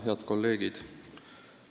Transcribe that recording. Head kolleegid!